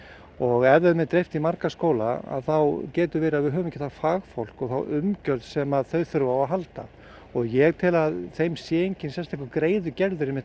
og ef þeim er dreift í marga skóla þá getur verið að við höfum ekki það fagfólk og umgjörð sem þau þurfa á að halda og ég tel að þeim sé enginn sérstakur greiði gerður með